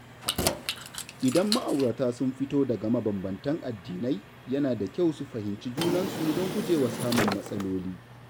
Idan ma’aurata sun fito daga mabanbantan addinai, yana da kyau su fahimci junansu don gujewa samun matsaloli.